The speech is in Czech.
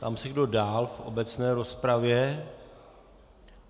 Ptám se, kdo dál v obecné rozpravě.